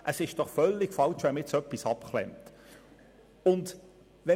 Es ist völlig falsch, dies zu unterbinden.